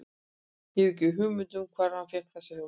Ég hef ekki hugmynd um það hvar hann fékk þessa hugmynd.